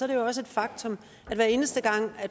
det jo også et faktum at hver eneste gang